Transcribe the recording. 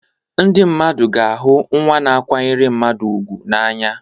Ndị mmadụ ga-ahụ nwa na-akwanyere mmadụ ùgwù n'anya.